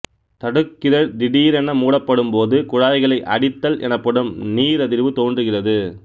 தடுக்கிதழ் திடீரென மூடப்படும்போது குழாய்களை அடித்தல் எனப்படும் நீரதிர்வு தோன்றுகிறது